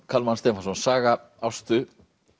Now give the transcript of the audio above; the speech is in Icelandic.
Kalman Stefánsson saga Ástu